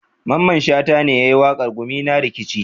Mamman shata ne yayi waƙar 'gumina nakeci'